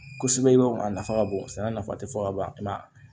Kosɛbɛ i b'a dɔn a nafa ka bon sɛnɛ nafa tɛ fɔ ka ban kuma